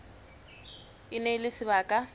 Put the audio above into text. e ne e le sebaka